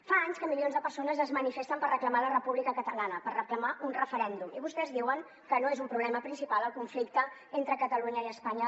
fa anys que milions de persones es manifesten per reclamar la república catalana per reclamar un referèndum i vostès diuen que no és un problema principal el conflicte polític entre catalunya i espanya